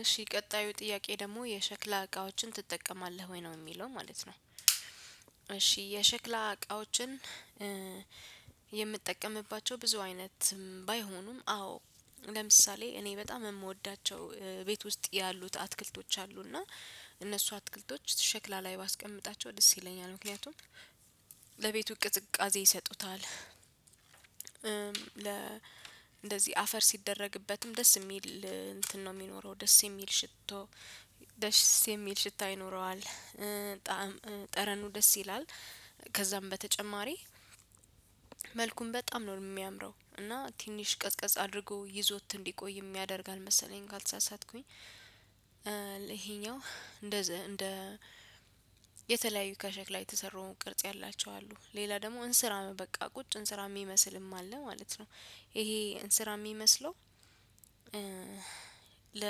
እሺ ቀጣዩ ጥያቄ ደግሞ የሸክላ እቃዎችን ትጠቀማለህ ወይ ነው የሚለው ማለት ነው። እሺ የሸክላ እቃዎችን የምትጠቀምባቸው ብዙ አይነት ባይሆኑም። አዎ ለምሳሌ እኔ በጣም የምወዳቸው ቤት ውስጥ ያሉት አትክልቶች አሉ እና እነሱ አትክልቶች ሽክላ ላይ ባስቀምጣቸው ደስ ይለኛል ምክንያቱም ለቤቱ ቅዝቃዜ ይሰጡታል። ለ እንደዚህ አፈር ሲደረግበትም ደስ የሚል እንትን ነው የሚኖረው ደስ የሚል ሽቶ ደስ የሚል ሽታ ይኖረዋል። ጠረኑ ደስ ይላል። ከዛም በተጨማሪ መልኩን በጣም ነው የሚያምረው እና ትንሽ ቀዝቀዝ አድርጎ ይዞት እንዲቆይ ያደርጋል መሰለኝ። ካልተሳሳትኩኝ ይሄኛው እንደ የተለያዩ ከሸክላ የተሰሩ ቅርጽ ያላቸው አሉ ሌላ ደግሞ እንስራ በቃ ቁጭ እንስራ የሚመስልም አለ ማለት ነው። ይሄ እንስራ የሚመስለው ለ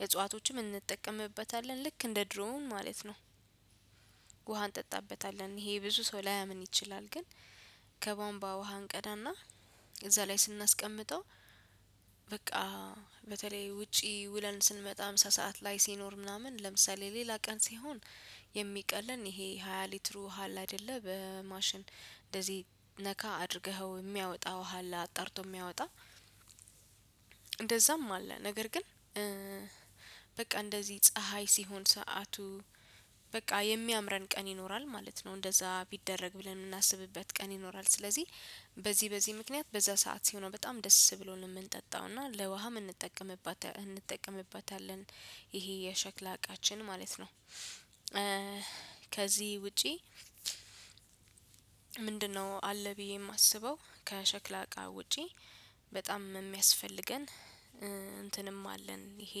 የእጽዋቶችም እንጠቀምበታለን ልክ እንደ ድሮውን ማለት ነው። ውሃን እንጠጣበታለን ይሄ ብዙ ሰው ላያምን ይችላል። ግን ከቧንቧ ውሃ እንቀዳና እዛ ላይ ስናስቀምጠው። በቃ በተለይ ውጪ ውለን ስንመጣ ምሳ ሰዓት ላይ ሲኖር ምናምን ለምሳሌ ሌላ ቀን ሲሆን የሚቀለን ይሄ ሃያ ሊትሩ ውሃ አለ አይደለ በማሽን እንደዚህ ነካ አድርገኸው የሚያወጣው ውሃ አለ አጣርቶ የሚያወጣ። እንደዛም አለ። ነገር ግን በቃ እንደዚህ ፀሀይ ሲሆን ሰዓቱ በቃ የሚያምረን ቀን ይኖራል ማለት ነው። እንደዛ ቢደረግ ብለን የምናስብበት ቀን ይኖራል። ስለዚህ በዚህ በዚህ ምክንያት በዛ ሰዓት ሲሆን ነው በጣም ደስ ብሎን የምንጠጣው እና ለውሃ የምንጠቀምበታለን። ይሄ የሸክላ እቃችን ማለት ነው። ከዚህ ውጪ ምንድነው? አለ ብዬ የማስበው ከሸክላ እቃ ውጪ በጣም የሚያስፈልገን እንትንም አለን። ይሄ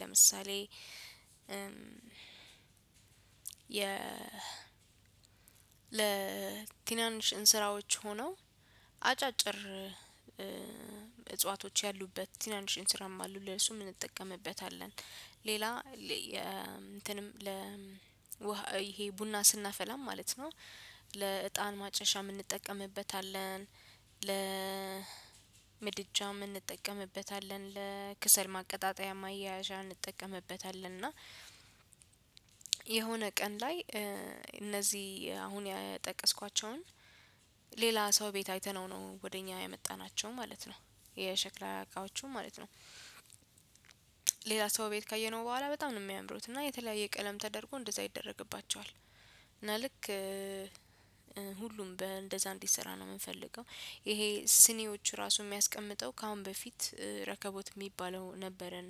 ለምሳሌ የ ለቲናንሽ እንስራዎች ሆነው አጫጭር እጽዋቶች ያሉበት ቲናንሽ እንስራም አሉ ለሱ እንጠቀምበታለን። ሌላ እንትንም ለ ይሄ ቡና ስናፈላም ማለት ነው ለእጣን ማጨሻ እንጠቀምበታለን። ምድጃም እንጠቀምበታለን ለክሰል ማቀጣጠያ ማያያዣ እንጠቀምበታለን። እና የሆነ ቀን ላይ እነዚህ አሁን የጠቀስኳቸውን ሌላ ሰው ቤት አይተነው ነው ወደ እኛ ያመጣናቸው ማለት ነው። የሸክላ አቃዎቹ ማለት ነው። ሌላ ሰው ቤት ካየነው በኋላ በጣም ነው የሚያምሩት እና የተለያየ ቀለም ተደርጎ እንደዛ ይደረግባቸዋል። እና ልክ እንደዛ እንዲሰራ ነው የምንፈልገው። ይሄ ስኔዎቹ ራሱ የሚያስቀምጠው ከአሁን በፊት ረከቦት የሚባለው ነበረን።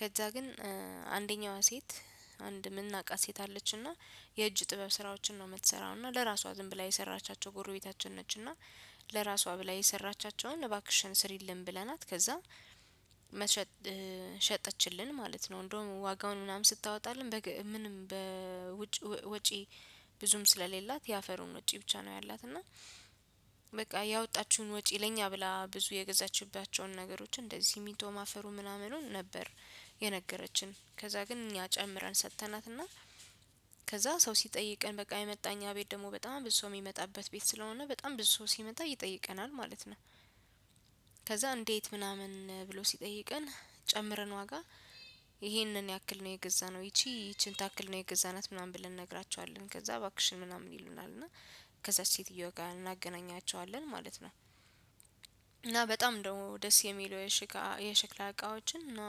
ከዛ ግን አንደኛዋ ሴት አንድ የምናውቃት ሴት አለችና የእጅ ጥበብ ስራዎችን ነው የምትሰራውና ለራሷ ዝም ብላ የሰራቻቸው ጎረቤታችን ነች። እና ለራሷ ብላ የሰራቻቸውን እባክሽን ስሪልን ብለናት ከዛ መሸጥ ሸጠችልን ማለት ነው። እንደውም ዋጋውን ምናምን ስታወጣልን ምንም በውጪ ብዙም ስለሌላት የአፈሩን ውጪ ብቻ ነው ያላት እና በቃ ያወጣችውን ወጪ ለኛ ብላ ብዙ የገዛችባቸውን ነገሮች እንደዚህ ስሚንቶ አፈሩ ምናምኑን ነበር። የነገረችን ከዛ ግን እኛ ጨምረን ሰጥተናትና ከዛ ሰው ሲጠይቀን በቃ የመጣ እኛ ቤት ደግሞ በጣም ብዙ ሰው የሚመጣበት ቤት ስለሆነ በጣም ብዙ ሰው ሲመጣ ይጠይቀናል ማለት ነው። ከዛ እንዴት ምናምን ብሎ ሲጠይቀን ጨምረን ዋጋ ይህንን ያክል ነው የገዛነው። ይቺ ይቺን ታክል ነው የገዛናት ምናምን ብለን እንነግራችኋለን። ከዛ እባክሽን ምናምን ይሉናል እና ከዛች ሴትየዋ ጋር እናገናኛቸዋለን ማለት ነው። በጣም ደግሞ ደስ የሚለው የሽክላ እቃዎችን እና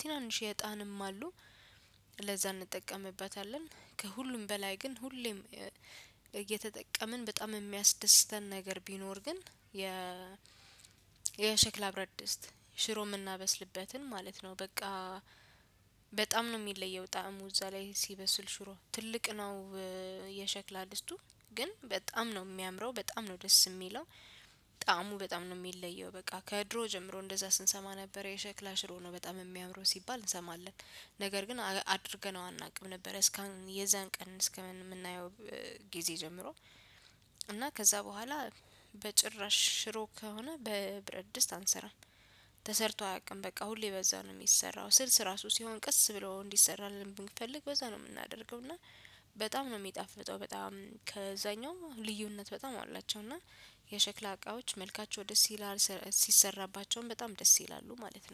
ትናንሽ የጣንም አሉ ለዛ እንጠቀምበታለን። ከሁሉም በላይ ግን ሁሌም እየተጠቀምን በጣም የሚያስደስተን ነገር ቢኖር ግን የ የሸክላ ብረድስት ሽሮ የምናበስልበትን ማለት ነው። በቃ በጣም ነው የሚለየው ጣዕሙ እዛ ላይ ሲበስል ሽሮ ትልቅ ነው። የሸክላ ድስቱ ግን በጣም ነው የሚያምረው በጣም ነው ደስ የሚለው። በጣም ነው የሚለየው በቃ ከድሮ ጀምሮ እንደዛ ስንሰማ ነበር የሸክላ ሽሮ ነው በጣም የሚያምረው ሲባል እንሰማለን። ነገር ግን አድርገነው አናውቅም ነበር እስካሁን የዛን ቀን እስከምናየው። ጊዜ ጀምሮ እና ከዛ በኋላ በጭራሽ ሽሮ ከሆነ በብረድስት አንሰራም። ተሰርቶ አያውቅም በቃ ሁሌ በዛ ነው የሚሰራው። ስልስ ራሱ ሲሆን ቀስ ብሎ እንዲሰራልን ብንፈልግ በዛ ነው የምናደርገው። እና በጣም ነው የሚጣፍጠው በጣም ከዛኛው ልዩነት በጣም አሏቸው። እና የሸክላ እቃዎች መልካቸው ደስ ይላል ሲሰራባቸውም በጣም ደስ ይላሉ ማለት ነው